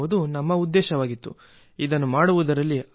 ಹೀಗಾಗಿ ಇದರಲ್ಲಿ ಮಳೆಯ ನೀರು ಸಂಗ್ರಹವಾಗುತ್ತಿದೆ